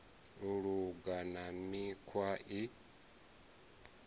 u luga na mikhwa i